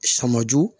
Sɔmɔju